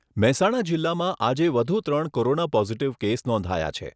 મહેસાણા જિલ્લામાં આજે વધુ ત્રણ કોરોના પોઝીટીવ કેસ નોંધાયા છે.